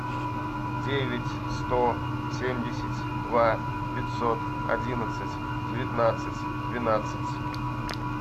девять сто семьдесят два пятьсот одиннадцать девятнадцать двенадцать